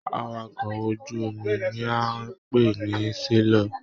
Àwàkọ̀ ojú omi ní a n pé ní selọ̀.